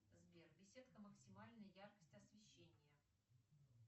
сбер беседка максимальная яркость освещения